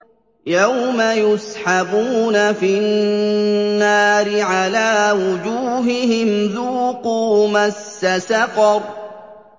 يَوْمَ يُسْحَبُونَ فِي النَّارِ عَلَىٰ وُجُوهِهِمْ ذُوقُوا مَسَّ سَقَرَ